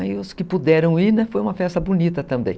Aí os que puderam ir, foi uma festa bonita também.